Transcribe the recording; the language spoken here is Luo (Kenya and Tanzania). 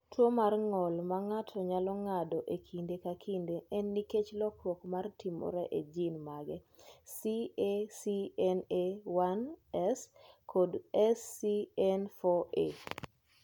"Tuwo mar ng’ol ma ng’ato nyalo ng’ado e kinde ka kinde en nikech lokruok ma timore e jin mag CACNA1S kod SCN4A."